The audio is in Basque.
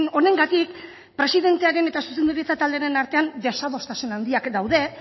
honengatik presidentearen eta zuzendaritza taldearen artean desadostasun handiak daude